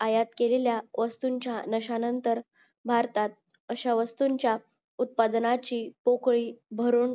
आयात केलेल्या वस्तूंचा नशा नतर भारतात अशा वस्तूंचा उत्पादनाची पोकळी भरून